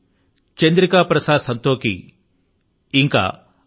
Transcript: నేను చంద్రికా ప్రసాద్ సంతోఖీ అని